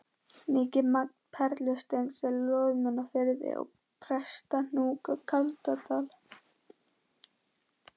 Mikið magn perlusteins er í Loðmundarfirði og Prestahnúk á Kaldadal.